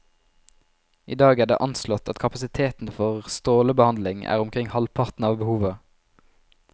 I dag er det anslått at kapasiteten for strålebehandling er omkring halvparten av behovet.